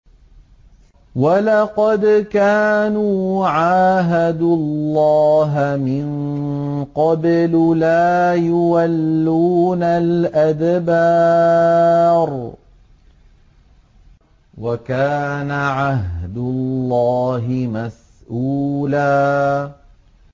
وَلَقَدْ كَانُوا عَاهَدُوا اللَّهَ مِن قَبْلُ لَا يُوَلُّونَ الْأَدْبَارَ ۚ وَكَانَ عَهْدُ اللَّهِ مَسْئُولًا